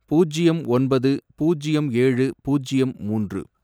பூஜ்யம் ஒன்பது, பூஜ்யம் ஏழு, பூஜ்யம் மூன்று